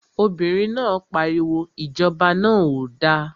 Obìnrin náà pariwo, Ìjọba náà ò da!